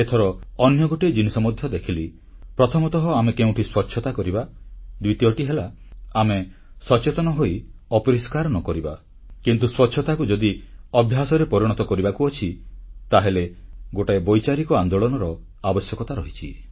ଏଥର ଅନ୍ୟ ଗୋଟିଏ ଜିନିଷ ମଧ୍ୟ ଦେଖିଲି ପ୍ରଥମତଃ ଆମେ କେଉଁଠି ସ୍ୱଚ୍ଛତା କରିବା ଦ୍ୱିତୀୟଟି ହେଲା ଆମେ ସଚେତନ ହୋଇ ଅପରିଷ୍କାର ନ କରିବା କିନ୍ତୁ ସ୍ୱଚ୍ଛତାକୁ ଯଦି ଅଭ୍ୟାସରେ ପରିଣତ କରିବାକୁ ଅଛି ତାହେଲେ ଗୋଟିଏ ବୈଚାରିକ ଆନ୍ଦୋଳନର ଆବଶ୍ୟକତା ରହିଛି